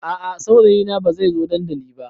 A a saurayina bai zai zo dandali ba.